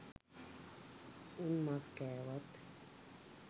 උන් මස් කෑවත්